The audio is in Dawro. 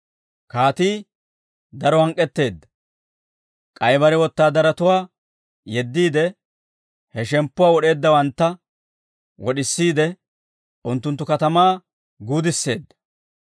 «Kaatii daro hank'k'etteedda; k'ay bare wotaadaratuwaa yeddiide, he shemppuwaa wod'eeddawantta wod'isiide, unttunttu katamaa guudisseedda.